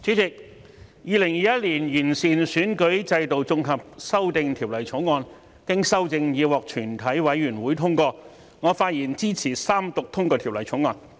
主席，《2021年完善選舉制度條例草案》經修正已獲全體委員會通過，我發言支持三讀通過《條例草案》。